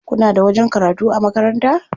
Kuna da wajen karatu a makaranta?